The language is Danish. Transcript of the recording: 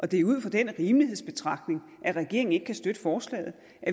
det er ud fra den rimelighedsbetragtning regeringen ikke kan støtte forslaget